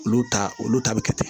Olu ta olu ta bi kɛ ten